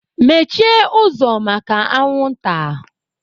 Mmechie ụzọ maka anwụnta!